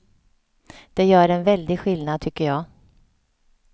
Det gör en väldig skillnad, tycker jag.